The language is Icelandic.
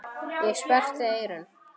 Ég sperrti eyrun.